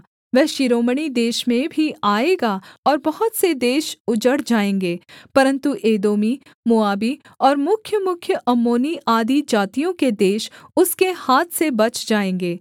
वह शिरोमणि देश में भी आएगा और बहुत से देश उजड़ जाएँगे परन्तु एदोमी मोआबी और मुख्यमुख्य अम्मोनी आदि जातियों के देश उसके हाथ से बच जाएँगे